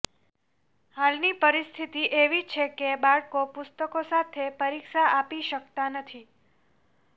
હાલની પરિસ્થિતિ એવી છે કે બાળકો પુસ્તકો સાથે પરીક્ષા આપી શક્તાં નથી